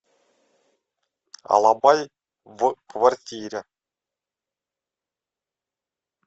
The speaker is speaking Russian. алабай в квартире